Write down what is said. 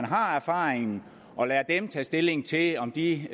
har erfaringen og lader dem tage stilling til om de